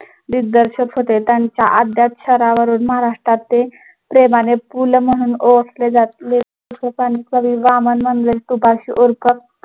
दिग्दर्शक होते. त्यांचा महाराष्ट्रात ते प्रेमाने पु ल म्हणून ओळखले जात